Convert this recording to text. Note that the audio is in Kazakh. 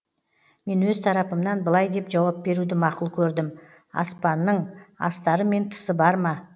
мен өз тарапымнан былай деп жауап беруді мақұл көрдім аспанның астары мен тысы бар ма